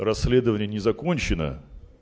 расследование не закончено